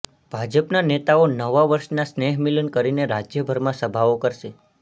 ભાજપના નેતાઓ નવા વર્ષના સ્નેહમિલન કરીને રાજ્યભરમાં સભાઓ કરશે